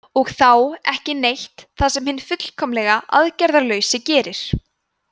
og þá „ekki neitt“ það sem hinn fullkomlega aðgerðalausi gerir